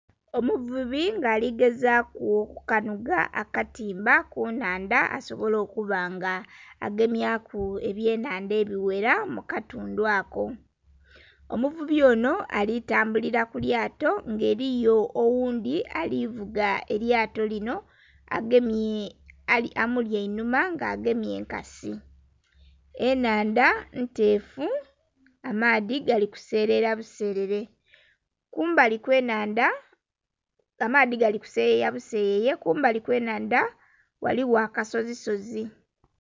Omuvubi nga aligezaku okukanhuga akatimba ku nnhandha asobole okuba nga agemyaku ebyenhandha ebighera mu katundhu ako, omuvubi onho ali tambulila ku lyato nga eliyo oghundhi ali vuga elyato linho amuli einhuma nga agemye enkasi. Ennhandha nteefu amaadhi gali kuselela buselele. Kumbali kw'ennhandha, amaadhi gali ku seyeya buseyeye...kumbali kw'ennhandha ghaligho akasozisozi.